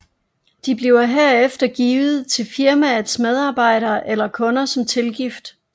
De bliver herefter givet til firmaets medarbejdere eller kunder som tilgift